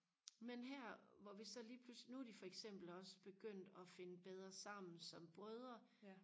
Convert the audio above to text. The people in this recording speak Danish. men her hvor vi så lige pludselig nu er de for eksempel også begyndt og finde bedre sammen som brødre